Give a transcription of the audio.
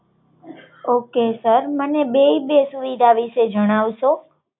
okay તમે મને bat વિશે જણાવશો